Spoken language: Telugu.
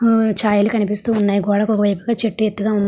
హ ఛాయలు కనిపిస్తా ఉన్నాయి. గోడకి ఒక వైపు గ చేటు ఎత్తుగా ఉం --